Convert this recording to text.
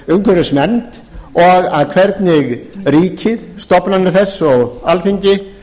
umhverfisnefnd og hvernig ríkið stofnanir þess og alþingi